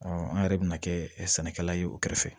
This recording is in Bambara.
an yɛrɛ bɛna kɛ sɛnɛkɛla ye u kɛrɛfɛ